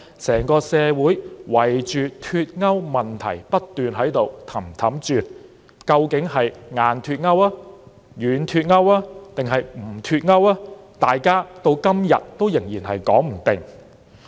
整個社會圍着脫歐問題不停團團轉，究竟是"硬脫歐"、"軟脫歐"還是"不脫歐"，到今天仍然說不定。